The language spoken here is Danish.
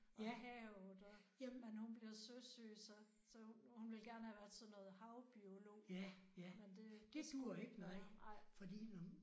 Og havet og men hun bliver søsyg så så hun ville gerne have været sådan noget havbiolog men det skulle det ikke være nej